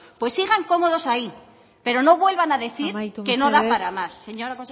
pues sigan cómodos ahí pero no vuelvan a decir que no da para más amaitu mesedez